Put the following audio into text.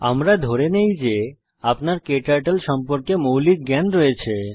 আমরা ধরে নেই যে আপনার ক্টার্টল সম্পর্কে মৌলিক জ্ঞান রয়েছে